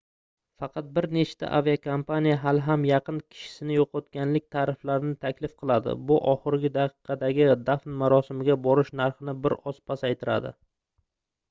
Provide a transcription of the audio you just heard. faqat bir nechta aviakompaniya hali ham yaqin kishisini yoʻqotganlik tariflarini taklif qiladi bu oxirgi daqiqadagi dafn marosimiga borish narxini bir oz pasaytiradi